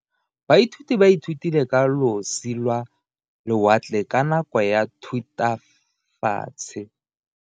Baithuti ba ithutile ka losi lwa lewatle ka nako ya Thutafatshe.